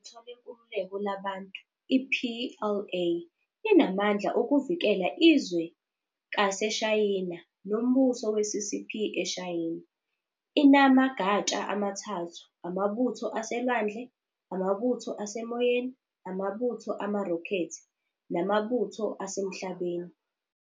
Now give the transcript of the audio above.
iButho leNkululeko laBantu, i-PLA, inamandla okuvikela izwe kaseShayina nombuso we-CCP eShayina. INama gatsha amathathu- Amabutho aseLwandle, Amabutho aseMoyeni, Amabutho amaRokhethi namaButho aseMhlabeni.